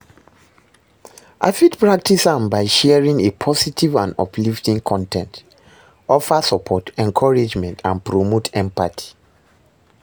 I fit practice am by sharing a positive and uplifting con ten t, offer support, encouragement and promote empathy.